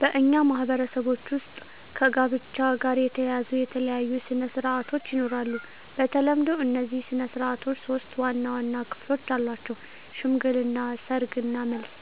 በእኛ ማህበረሰቦች ውስጥ ከጋብቻ ጋር የተያያዙ የተለያዩ ሥነ ሥርዓቶች ይኖራሉ። በተለምዶ እነዚህ ሥነ ሥርዓቶች ሶስት ዋና ዋና ክፍሎች አላቸው፦ ሽምግልና፣ ሰርግ እና መልስ።